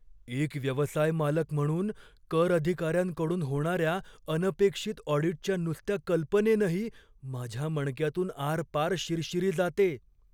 एक व्यवसाय मालक म्हणून, कर अधिकाऱ्यांकडून होणाऱ्या अनपेक्षित ऑडीटच्या नुसत्या कल्पनेनंही माझ्या मणक्यातून आरपार शिरशिरी जाते.